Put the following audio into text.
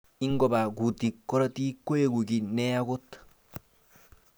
Ingobaa kutik karotik koeku ki ne ya kot.